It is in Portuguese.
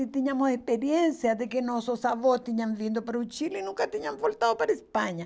E tínhamos experiência de que nossos avós tinham vindo para o Chile e nunca tinham voltado para a Espanha.